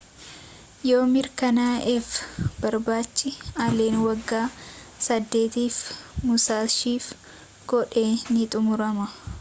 yoo mirkanaa'eef barbaachi allen waggaa saddeetiif musashiif godhe ni xumurama